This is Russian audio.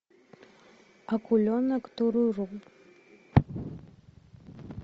акуленок туруру